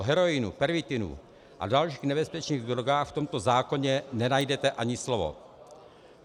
O heroinu, pervitinu a dalších nebezpečných drogách v tomto zákoně nenajdete ani slovo.